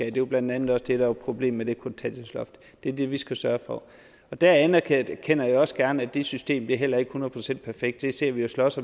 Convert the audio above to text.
er jo blandt andet også det der var problemet med kontanthjælpsloftet det er det vi skal sørge for der anerkender jeg også gerne at det system heller ikke er hundrede procent perfekt det sidder vi og slås